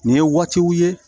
Nin ye waatiw ye